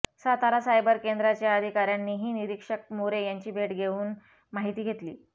Satara cyber केंद्राच्या अधिकाऱयांनीही निरीक्षक मोरे यांची भेट घेऊन माहिती घेतली